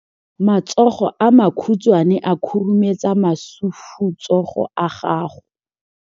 Matsogo a makhutshwane a khurumetsa masufutsogo a gago.